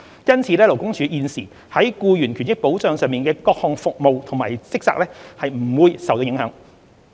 因此，勞工處現時在僱員權益保障上的各項服務及職責皆不會受到影響。